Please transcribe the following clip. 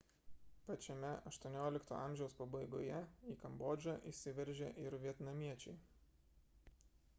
pačiame xviii amžiaus pabaigoje į kambodžą įsiveržė ir vietnamiečiai